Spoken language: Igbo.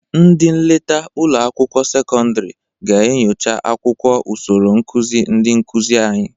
Ndị nleta ụlọ akwụkwọ sekọndịrị ga-enyocha akwụkwọ usoro nkụzị ndị nkụzị anyị.